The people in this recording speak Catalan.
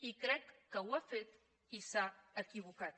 i crec que ho ha fet i s’ha equivocat